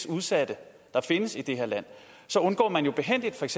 udsatte der findes i det her land så undgår man jo behændigt